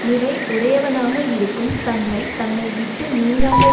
நிறை உடையவனாக இருக்கும் தன்மை தன்னை விட்டு நீங்காமல்